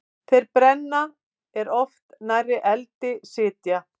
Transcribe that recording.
Þeir brenna er of nærri eldi sitja.